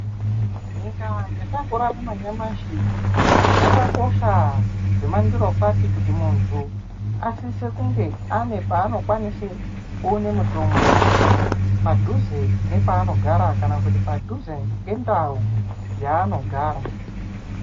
Nyika yatakurarama nyamashi zvekakosha zvemandorokwati kuti munhu asise kunge aine paanokwanisa kuwana mutombo padhuze nepaanogara kana kuti padhuze nendau yaanogara.